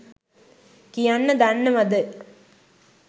කියන්න දන්නවද?